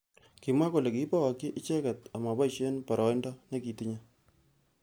Kimwa kole kikibokyi icheket amaboishe boroindo nekitinye.